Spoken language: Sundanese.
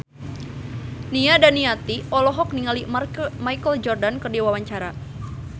Nia Daniati olohok ningali Michael Jordan keur diwawancara